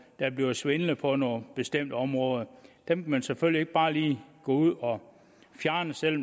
der bliver svindlet på nogle bestemte områder dem kan man selvfølgelig ikke bare lige gå ud og fjerne selv